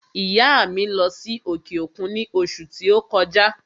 ìyá à mi lọ́ sí òkè òkun ní òṣù ti o kọjá.